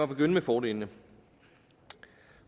begynde med fordelene